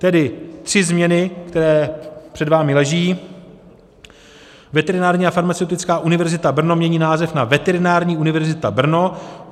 Tedy tři změny, které před vámi leží: Veterinární a farmaceutická univerzita Brno mění název na Veterinární univerzita Brno.